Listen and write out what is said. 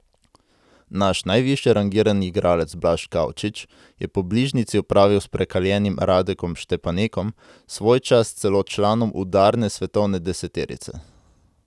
Naš najvišje rangirani igralec Blaž Kavčič je po bližnjici opravil s prekaljenim Radekom Štepanekom, svojčas celo članom udarne svetovne deseterice.